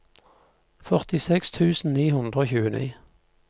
førtiseks tusen ni hundre og tjueni